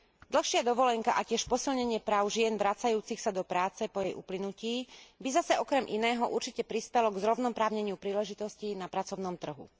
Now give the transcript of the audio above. Dlhšia dovolenka a tiež posilnenie práv žien vracajúcich sa do práce po jej uplynutí by zase okrem iného určite prispelo k zrovnoprávneniu príležitostí na pracovnom trhu.